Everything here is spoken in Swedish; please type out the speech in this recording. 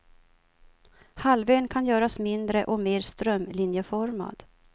Halvön kan göras mindre och mer strömlinjeformad.